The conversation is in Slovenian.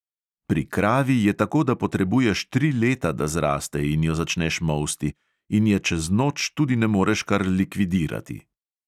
Pri kravi je tako, da potrebuješ tri leta, da zraste in jo začneš molsti, in je čez noč tudi ne moreš kar likvidirati.